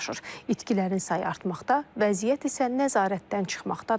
İtkilərin sayı artmaqda, vəziyyət isə nəzarətdən çıxmaqdadır.